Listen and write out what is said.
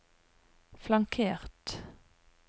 flankert